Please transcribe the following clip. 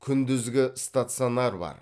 күндізгі стационар бар